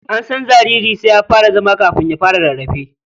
An san jariri sai ya fara zama kafin ya fara rarrafe.